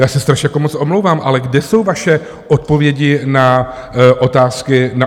Já se strašně moc omlouvám, ale kde jsou vaše odpovědi na otázky mé?